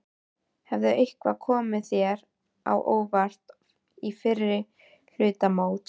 Hefur eitthvað komið þér á óvart í fyrri hluta móts?